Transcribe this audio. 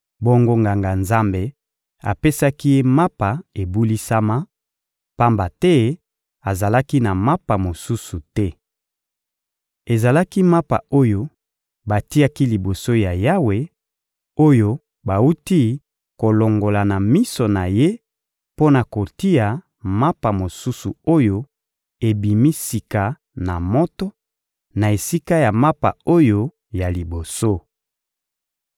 Bongo Nganga-Nzambe apesaki ye mapa ebulisama, pamba te azalaki na mapa mosusu te. Ezalaki mapa oyo batiaki liboso ya Yawe, oyo bawuti kolongola na miso na Ye mpo na kotia mapa mosusu oyo ebimi sika na moto, na esika ya mapa oyo ya liboso.